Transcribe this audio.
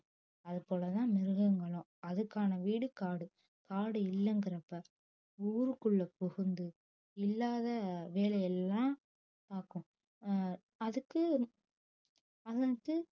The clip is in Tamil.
அது போலதான் மிருகங்களும் அதுக்கான வீடு காடு காடு இல்லைங்கிறப்ப ஊருக்குள்ள புகுந்து இல்லாத வேலை எல்லாம் பாக்கும் ஆஹ் அதுக்கு